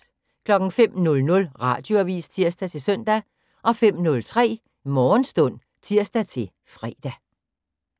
05:00: Radioavis (tir-søn) 05:03: Morgenstund (tir-fre)